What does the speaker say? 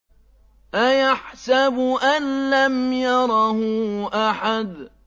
أَيَحْسَبُ أَن لَّمْ يَرَهُ أَحَدٌ